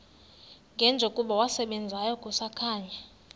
njengokuba wasebenzayo kusakhanya